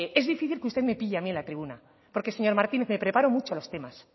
es difícil que usted me pille a mí en la tribuna porque señor martínez me preparo mucho los temas